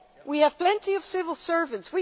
We have plenty of civil servants